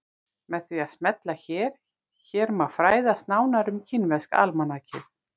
Með því að smella hér hér má fræðast nánar um kínverska almanakið.